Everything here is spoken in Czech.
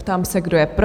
Ptám se, kdo je pro?